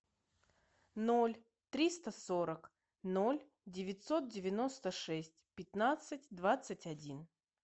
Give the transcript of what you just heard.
ноль триста сорок ноль девятьсот девяносто шесть пятнадцать двадцать один